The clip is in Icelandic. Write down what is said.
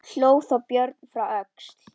Hló þá Björn frá Öxl.